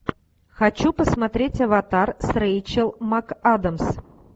хочу посмотреть аватар с рэйчел макадамс